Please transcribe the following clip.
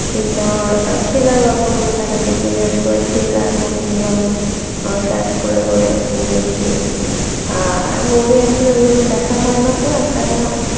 কিন্তু আমার thriller গল্পগুলোটাই বেশি বিশেষ করে thriller movie গুলো আমি search করে করে দেখি আর movie আসলে ওভাবে দেখা হয়না তো একটানা